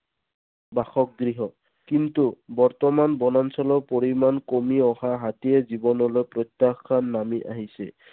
বাসগৃহ। কিন্তু বৰ্তমান বনাঞ্চলৰ পৰিমাণ কমি অহা হাতীৰ জীৱনলৈ প্ৰত্যাখান নামি আহিছে।